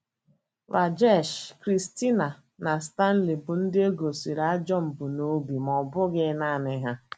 Rajesh, Christina, na Stanley bụ ndị e gosịrị ajọ mbunobi, ma ọ bụghị nanị ha.